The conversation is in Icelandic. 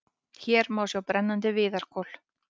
Hér má sjá brennandi viðarkol.